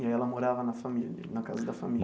E aí ela morava na família, na casa da família?